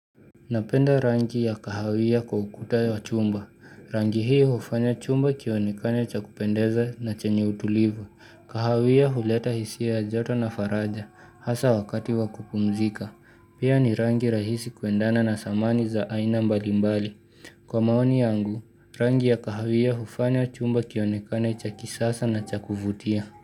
Napenda rangi ya kahawia kwa ukuta wa chumba. Rangi hii hufanya chumba kionekane cha kupendeza na chenye utulivu. Kahawia huleta hisia ya joto na faraja, hasa wakati wa kupumzika. Pia ni rangi rahisi kuendana na samani za aina mbalimbali. Kwa maoni yangu, rangi ya kahawia hufanya chumba kionekane cha kisasa na cha kuvutia.